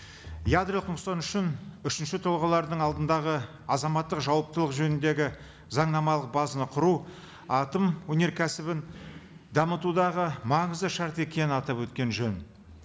ядролық нұқсан үшін үшінші тұлғалардың алдындағы азаматтық жауаптылық жөніндегі заңнамалық базаны құру атом өнеркәсібін дамытудағы маңызды шарт екенін атап өткен жөн